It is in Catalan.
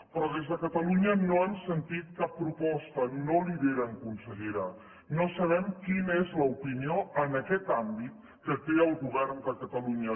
però des de catalunya no hem sentit cap proposta no lideren consellera no sabem quina és l’opinió en aquest àmbit que té el govern de catalunya